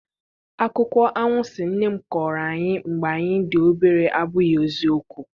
Akụkọ anwansi nne m kọọrọ anyị mgbe anyị dị obere abụghị eziokwu.